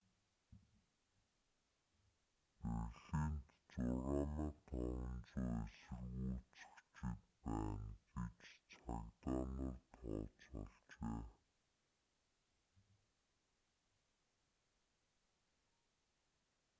берлинд 6500 эсэргүүцэгчид байна гэж цагдаа нар тооцоолжээ